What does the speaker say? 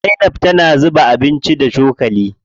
Zainab tana juya abinci da cokali.